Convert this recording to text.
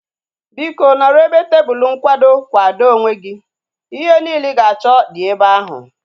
Biko, nọrọ ebe tebụlu nkwado kwado onwe gị. Ihe niile ị ga-achọ dị ebe ahu